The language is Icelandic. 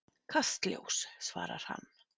Kastljós, svarar hann.